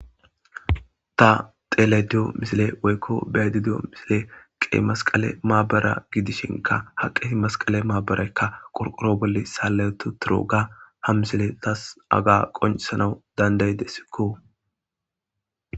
ta tele diyo misile woykko bedi diyo misile qe masqale maabara gidishinka haqehi masqale maabarekka qorqoro bolle saallayetu turoga ha misile tas aga qoncesanau dandayde sikko